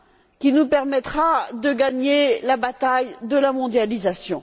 qui nous permettra de gagner la bataille de la mondialisation.